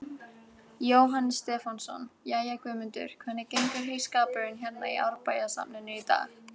Jóhannes Stefánsson: Jæja, Guðmundur, hvernig gengur heyskapurinn hérna í Árbæjarsafninu í dag?